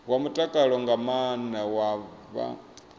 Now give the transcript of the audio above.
wa mutakalo nga maana vha